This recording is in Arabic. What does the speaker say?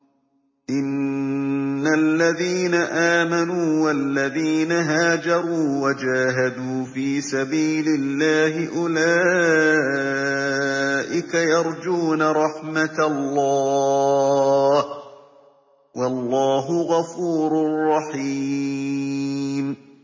إِنَّ الَّذِينَ آمَنُوا وَالَّذِينَ هَاجَرُوا وَجَاهَدُوا فِي سَبِيلِ اللَّهِ أُولَٰئِكَ يَرْجُونَ رَحْمَتَ اللَّهِ ۚ وَاللَّهُ غَفُورٌ رَّحِيمٌ